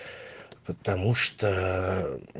потому что